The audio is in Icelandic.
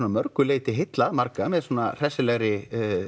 mörgu leiti heillað marga með hressilegri